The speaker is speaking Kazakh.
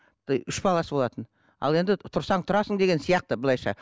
үш баласы болатын ал енді тұрсаң тұрасың деген сияқты былайша